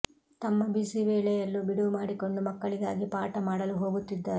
ತಮ್ಮ ಬ್ಯುಸಿ ವೇಳೆಯಲ್ಲೂ ಬಿಡುವು ಮಾಡಿಕೊಂಡು ಮಕ್ಕಳಿಗಾಗಿ ಪಾಠ ಮಾಡಲು ಹೋಗುತ್ತಿದ್ದಾರೆ